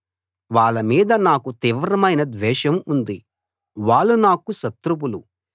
వాళ్ళ మీద నాకు తీవ్రమైన ద్వేషం ఉంది వాళ్ళు నాకు శత్రువులు